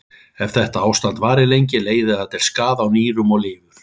Ef þetta ástand varir lengi leiðir það til skaða á nýrum og lifur.